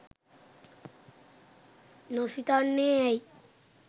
නොසිතන්නේ ඇයි?